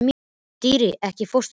Dýri, ekki fórstu með þeim?